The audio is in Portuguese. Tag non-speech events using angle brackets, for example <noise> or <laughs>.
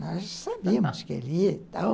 <laughs> Nós sabíamos que ele ia e tal.